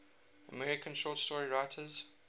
american short story writers